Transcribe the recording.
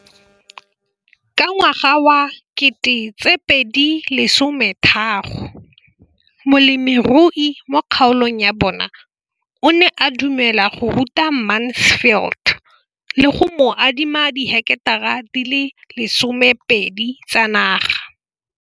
Ka ngwaga wa 2013, molemirui mo kgaolong ya bona o ne a dumela go ruta Mansfield le go mo adima di heketara di le 12 tsa naga.